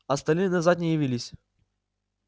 остальные назад не явились